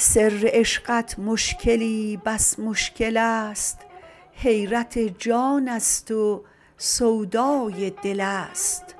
سر عشقت مشکلی بس مشکل است حیرت جان است و سودای دل است